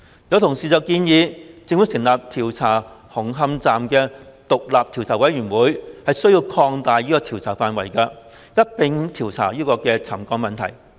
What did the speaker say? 有同事建議，由政府成立以調查紅磡站事宜的獨立調查委員會需要擴大調查範圍，一併調查沉降問題。